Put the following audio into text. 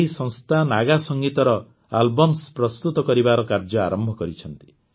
ଏହି ସଂସ୍ଥା ନାଗା ସଙ୍ଗୀତର ଆଲବମ୍ସ ପ୍ରସ୍ତୁତ କରିବାର କାର୍ଯ୍ୟ ଆରମ୍ଭ କରିଛନ୍ତି